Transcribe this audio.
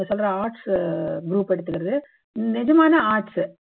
நீங்க சொல்ற arts group எடுத்துக்குறது நிஜமான arts